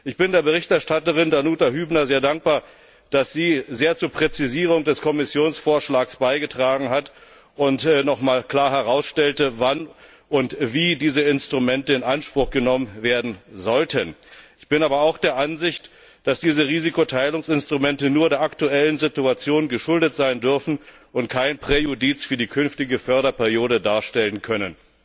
Ich bin der Berichterstatterin Danuta Hübner sehr dankbar, dass sie sehr zur Präzisierung des Kommissionsvorschlags beigetragen hat und noch mal klar herausstellte, wann und wie diese Instrumente in Anspruch genommen werden sollten. Ich bin aber auch der Ansicht, dass diese Risikoteilungsinstrumente nur der aktuellen Situation geschuldet sein dürfen und kein Präjudiz für die künftige Förderperiode darstellen können.